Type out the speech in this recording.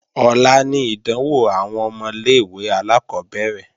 Ọ̀la ni ìdánwò àwọn ọmọ ilé-ìwé alákọ́bẹ̀rẹ̀